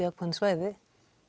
ákveðin svæði